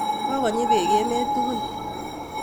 Kokonyi beek emet tugul